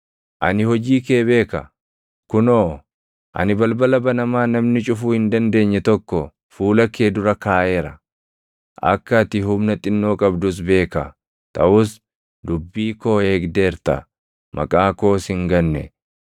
Ani hojii kee beeka. Kunoo, ani balbala banamaa namni cufuu hin dandeenye tokko fuula kee dura kaaʼeera. Akka ati humna xinnoo qabdus beeka; taʼus dubbii koo eegdeerta; maqaa koos hin ganne.